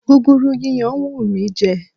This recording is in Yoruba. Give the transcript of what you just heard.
Gúgúrú yíyan ń wù mí jẹ.